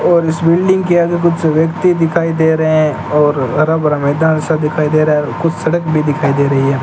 और इस बिल्डिंग के आगे कुछ व्यक्ति दिखाई दे रहे हैं और हरा भरा मैदान सब दिखाई दे रहा है और कुछ सड़क भी दिखाई दे रही है।